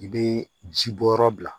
I bɛ ji bɔ yɔrɔ bila